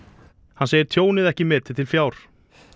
hann segir tjónið ekki metið til fjár